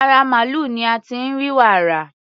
Ara màlúù ni a ti ń rí wàrà.